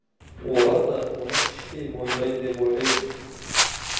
олар да мұны іштей мойындайды деп ойлаймын